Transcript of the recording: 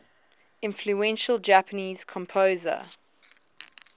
influential japanese composer